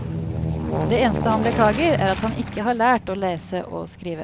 Det eneste han beklager er at han ikke har lært å lese og skrive.